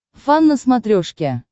фан на смотрешке